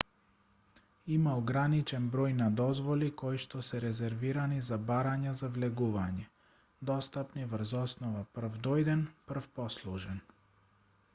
има ограничен број на дозволи коишто се резервирани за барања за влегување достапни врз основа прв дојден прв послужен